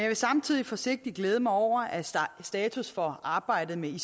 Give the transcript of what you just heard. vil samtidig forsigtigt glæde mig over at status for arbejdet med